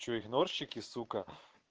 что игнорщики сука